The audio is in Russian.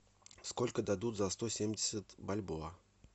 сколько дадут за сто семьдесят бальбоа